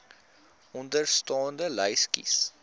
onderstaande lys kies